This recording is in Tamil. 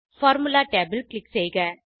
பார்முலா tab ல் க்ளிக் செய்க